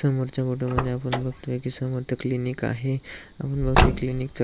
समोरच्या फोटो मधी आपण बगतोय की समोर क्लिनीक आहे आपण बगतोय क्लिनीक चा